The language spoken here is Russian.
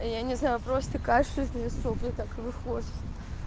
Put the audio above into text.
я не знаю просто кашель из меня сопли так и выходят